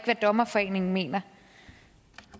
hvad dommerforeningen mener